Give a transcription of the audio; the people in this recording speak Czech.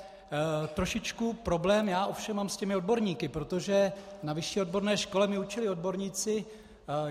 Trošičku problém já ovšem mám s těmi odborníky, protože na vyšší odborné škole mi učili odborníci.